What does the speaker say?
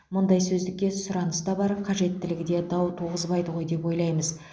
мұндай сөздікке сұраныс та бар қажеттілігі де дау туғызбайды ғой деп ойлаймыз